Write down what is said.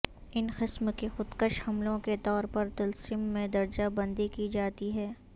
ان قسم کی خودکش حملوں کے طور پر طلسم میں درجہ بندی کی جاتی ہے